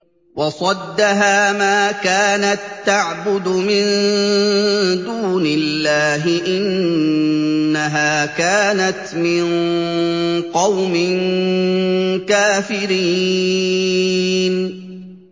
وَصَدَّهَا مَا كَانَت تَّعْبُدُ مِن دُونِ اللَّهِ ۖ إِنَّهَا كَانَتْ مِن قَوْمٍ كَافِرِينَ